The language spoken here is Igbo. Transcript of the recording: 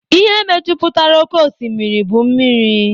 Ihe mejupụtara oké osimiri bụ mmiri